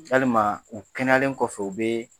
Yalima u kɛnɛyalen kɔfɛ o be